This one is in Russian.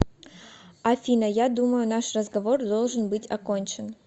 афина я думаю наш разговор должен быть окончен